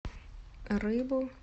рыбу